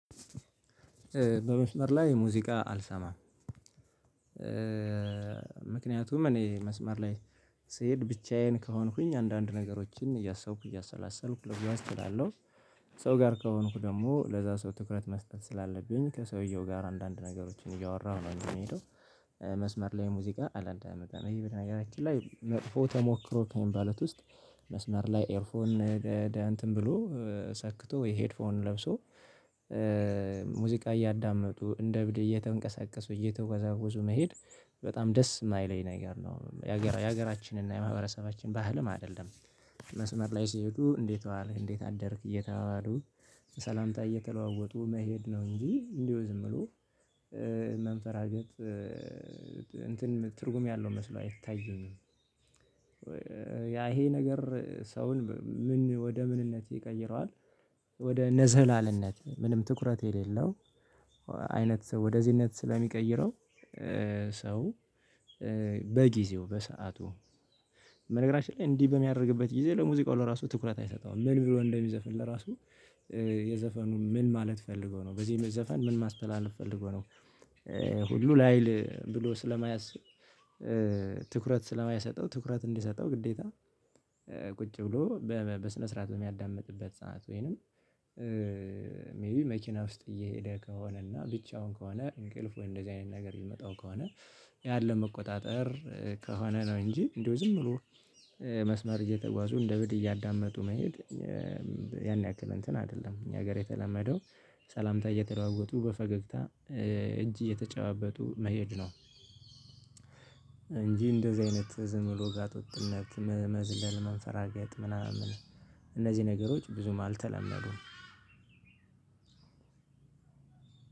በመስመር ላይ ሙዚቃ አልሰማም። ምክንያቱም እኔ መስመር ላይ ስሄድ ብቻዬን ከሆንኩኝ አንዳንድ ነገሮችን እያሰብኩ እያሰላሰልኩ ልጓዝ እችላለሁ። ሰው ጋር ከሆንኩ ደግሞ ለዛ ሰው ትኩረት መስጠት ስላለብኝ ከሰውየው ጋር አንዳንድ ነገሮችን እያወራሁ ነው እንጂ የሚሄደው መስመር ላይ ሙዚቃ አላንዳምጥም። እኔ በነገራችን ላይ መጥፎ ተሞክሮ ከሚባሉት ውስጥ መስመር ላይ ኤርፎን እንትን ብሎ ሰክቶ ወይ ሄድፎን ለብሶ ሙዚቃ እያዳመጡ እንደ እብድ እየተንቀሳቀሱ እየተወዛወዙ መሄድ በጣም ደስ የማይለኝ ነገር ነው። የሀገራችንና የማህበረሰባችን ባህልም አይደለም። መስመር ላይ ሲሄዱ እንዴት ዋልክ እንዴት አደርክ እየተባባሉ ሰላምታ እየተለዋወጡ መሄድ ነው እንጂ እንዲሁ ዝም ብሎ መንፈራገጥ እንትን ትርጉም ያለው መስሎ አይታየኝም። ያ ይሄ ነገር ሰውን ምን ወደ ምንነት ይቀይረዋል? ወደ ነዝላልነት ምንም ትኩረት የሌለው አይነት ሰው ወደዚህነት ስለሚቀይረው። ሰው በጊዜው በሰአቱ በሰአቱ በነገራችን ላይ እንዲህ በሚያደርግበት ጊዜ ለሙዚቃው ለራሱ ትኩረት አይሰጠውም ምን ብሎ እንደሚዘፈን ለራሱ የዘፈኑ ምን ማለት ፈልጎ ነው በዚህም ዘፈን ምን ማስተላለፍ ፈልጎ ነው። ሁሉ ላይል ብሎ ስለማያስብ ትኩረት ስለማይሰጠው ትኩረት እንዲሰጠው ግዴታ። ቁጭ ብሎ በስነ ስርዓት በሚያዳምጥበት ሰዓት ወይንም ሜይ ቢ መኪና ውስጥ እየሄደ ከሆነና ብቻውን ከሆነ እንቅልፍ ወይ እንደዚህ አይነት ነገር ሊመጣው ከሆነ ያለው መቆጣጠር ከሆነ ነው። እንጂ እንደው ዝም ብሎ መስመር እየተጓዙ እንደ እብድ እያዳመጡ መሄድ። ያን ያክል እንትን አይደለም እኛ ሀገር የተለመደው ሰላምታ እየተለዋወጡ በፈገግታ እጅ እየተጨባበጡ መሄድ ነው። እንጂ እንደዚህ አይነት ዝም ጋጥወጥነት መዝለል መንፈራገጥ ምናምን እነዚህ ነገሮች ብዙም አልተለመዱም።